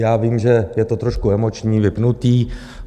Já vím, že je to trošku emoční, vypnuté.